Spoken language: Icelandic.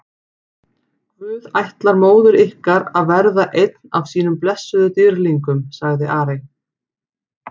Guð ætlar móður ykkar að verða einn af sínum blessuðum dýrlingum, sagði Ari.